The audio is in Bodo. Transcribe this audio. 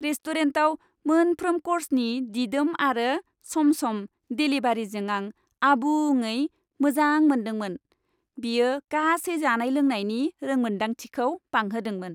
रेस्टुरेन्टआव मोनफ्रोम कर्सनि दिदोम आरो सम सम देलिभारिजों आं आबुङै मोजां मोनदोंमोन, बेयो गासै जानाय लोंनायनि रोंमोनदांथिखौ बांहोदोंमोन।